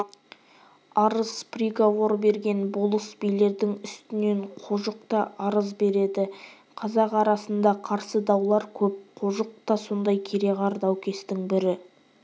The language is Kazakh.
арыз приговор берген болыс-билердің үстінен қожық та арыз береді қазақ арасында қарсы даулар көп қожықта та сондай кереғар даукестің бірі